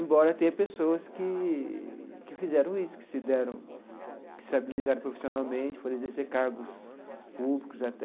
Embora tenha pessoas que que fizeram isso, que se deram, que se habilitaram profissionalmente, foram exercer cargos públicos até.